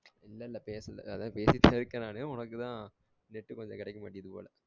இல்ல இல்ல பேசல அதாவது பேசிட்டு தான் இருக்கேன் நானு உனக்குதான் net உ கொஞ்சம் கிடைக்க மாட்டிகுது போல